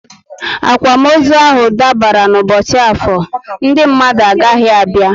Akwamozu ahụ dabara n' ubochi Afor, Ndị mmadụ agaghị abịa